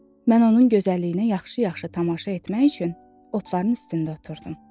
Mən onun gözəlliyinə yaxşı-yaxşı tamaşa etmək üçün otların üstündə oturdum.